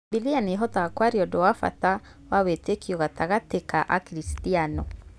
Bibilia nĩĩhotaga kwaria ũndũ wa bata wa wĩtĩkio gatagatĩ ka Akristiano